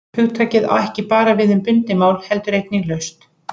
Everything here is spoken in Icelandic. Hugtakið á ekki bara við um bundið mál heldur einnig laust.